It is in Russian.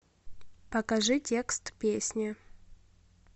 покажи текст песни